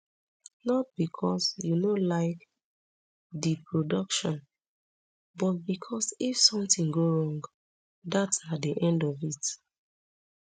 not becos you no like di production but becos if somtin go wrong dat na di end of it